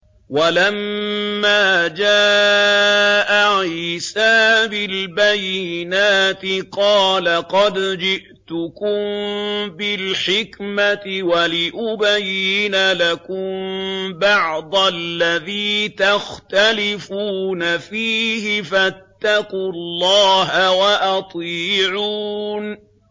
وَلَمَّا جَاءَ عِيسَىٰ بِالْبَيِّنَاتِ قَالَ قَدْ جِئْتُكُم بِالْحِكْمَةِ وَلِأُبَيِّنَ لَكُم بَعْضَ الَّذِي تَخْتَلِفُونَ فِيهِ ۖ فَاتَّقُوا اللَّهَ وَأَطِيعُونِ